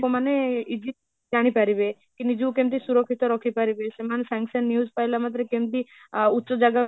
ମାନେ easy ଜାଣି ପାରିବେ କି ନିଜକୁ କେମିତି ସୁରକ୍ଷିତ ରଖିପାରିବି ସେମାନେ ସଙ୍ଗେ ସଙ୍ଗେ news ପାଇଲା ମାତ୍ରେ କେମତି ଅ ଉଚ୍ଚ ଜାଗା